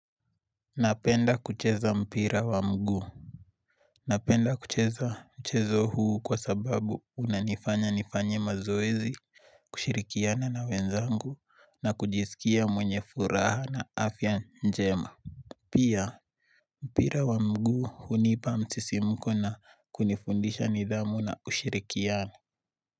Napenda kucheza mpira wa mguu. Napenda kucheza mchezo huu kwa sababu unanifanya nifanye mazoezi, kushirikiana na wenzangu na kujisikia mwenye furaha na afya njema. Pia mpira wa mguu hunipa msisimuko na kunifundisha nidhamu na ushirikiano.